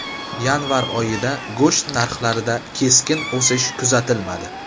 Yanvar oyida go‘sht narxlarida keskin o‘sish kuzatilmadi.